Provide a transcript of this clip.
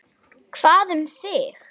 Hvað um þig?